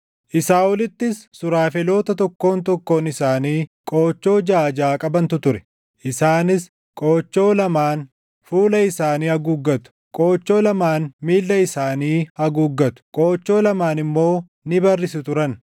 Isaa olittis suraafeloota tokkoon tokkoon isaanii qoochoo jaʼa jaʼa qabantu ture; isaanis qoochoo lamaan fuula isaanii haguuggatu; qoochoo lamaan miilla isaanii haguuggatu; qoochoo lamaan immoo ni barrisu turan.